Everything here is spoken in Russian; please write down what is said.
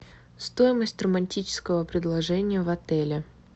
стоимость романтического предложения в отеле